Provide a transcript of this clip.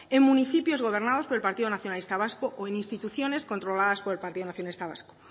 en municipios gobernados por el partido nacionalista vasco o en instituciones controladas por el partido nacionalista vasco